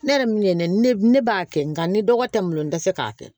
Ne yɛrɛ min ye ne ne b'a kɛ nka ni dɔgɔ tɛ malo dɛsɛ k'a kɛ